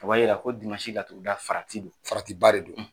O B'a yira ko laturuda farati don faratiba de don,